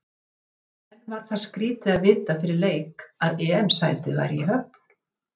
En var það skrítið að vita fyrir leik að EM sætið væri í höfn?